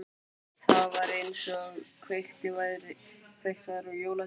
Það var einsog kveikt væri á jólatré.